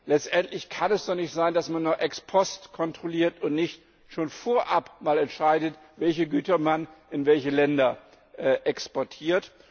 Letztendlich kann es doch nicht sein, dass man nur ex post kontrolliert und nicht schon vorab mal entscheidet, welche Güter man in welche Länder exportiert.